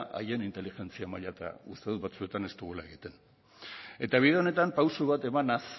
haien inteligentzia maila uste dut batzuetan ez dugula egiten bide honetan pausu bat emanaz